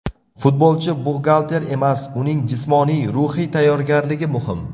Futbolchi buxgalter emas, uning jismoniy, ruhiy tayyorgarligi muhim.